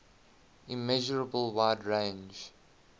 immeasurable wide range